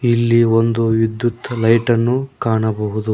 ಇಲ್ಲಿ ಒಂದು ವಿದ್ಯುತ್ ಲೈಟನ್ನು ಕಾಣಬಹುದು.